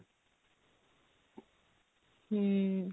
ହୁଁ